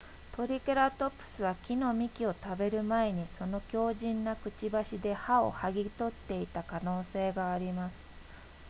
トリケラトプスは木の幹を食べる前にその強靭なくちばしで葉をはぎ取っていた可能性があります